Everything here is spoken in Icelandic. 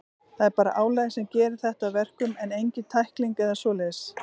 Það er bara álagið sem gerir þetta að verkum, en engin tækling eða svoleiðis.